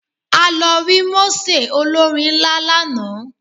A lo rí mósè olórin nlà lánàá